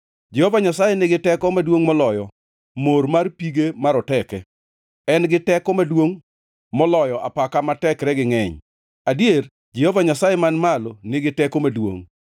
Jehova Nyasaye nigi teko maduongʼ moloyo mor mar pige maroteke, en gi teko maduongʼ moloyo apaka ma tekregi ngʼeny, adier Jehova Nyasaye man malo nigi teko maduongʼ.